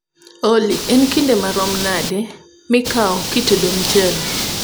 olly en kinde marom nade mikao kitedo mchele